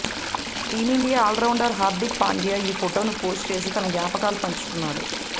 team India all rounder Hardik Pandya ఈ ఫోటోను post చేసి తన జ్ఞాపకాలు పంచుకున్నాడు